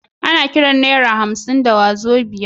Ana Kiran naira hamsin da wazobia